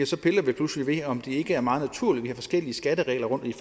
så piller vi pludselig ved om det ikke er meget naturligt at vi har forskellige skatteregler rundtom i